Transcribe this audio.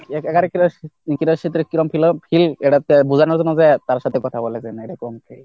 এটাতে বোঝানোর জন্য যে তার সাথে কথা বলা যায় না এরকম কি?